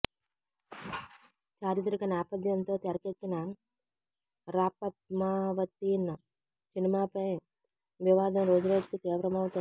చారిత్రక నేపథ్యంతో తెరకెక్కిన ాపద్మావతి్ణ సినిమాపై వివాదం రోజురోజుకు తీవ్రమవుతోంది